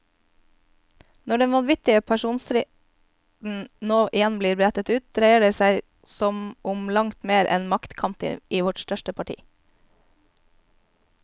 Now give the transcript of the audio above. Når den vanvittige personstriden nå igjen blir brettet ut, dreier det som om langt mer enn maktkamp i vårt største parti.